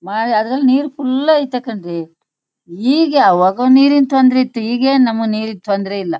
ಮ ಅದ್ರಲ್ ನೀರ್ ಫುಲ್ ಆಯಿತ ಕಣ್ರೀ. ಈಗ ಒಗರ ನೀರಿನ ತೊಂದರೆ ಇತ್ ಈಗೇನ್ ನಮಗೆ ನೀರಿನ ತೊಂದರೆ ಇಲ್ಲ.